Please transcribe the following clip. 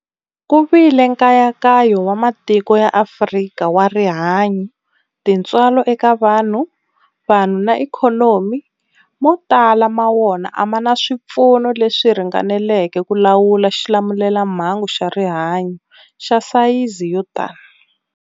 Ku vile nkayakayo wa matiko ya Afrika wa rihanyu, tintswalo eka vanhu, vanhu na ikhonomi, mo tala ma wona a ma na swipfuno leswi ringaneleke ku lawula xilamulelamhangu xa rihanyu xa sayizi yo tani.